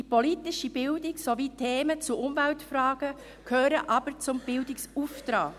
Die politische Bildung sowie Themen zu Umweltfragen gehören aber zum Bildungsauftrag.